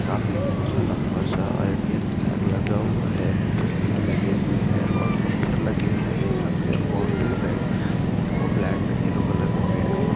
ठीक है आपके सामने काफी बड़ा ये दिख रहा है और यहाँ पे राइट साइड एक काफी घास वाला मैदान बनाया गया है और उसके बीच में एक काफी ऊंचा लंबा शाह और इंडियन फ्लैग लगा हुआ है। नीचे पेड़ लगे हुए हैं और पत्थर लगे हुए हैं। यहाँ पर बाउंड्री रैंक और ब्लैक कलर येलो कलर में पहनी हुई है।